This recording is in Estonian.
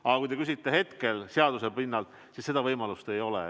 Aga kui te küsite hetke seisu kohta, siis seaduse kohaselt seda võimalust ei ole.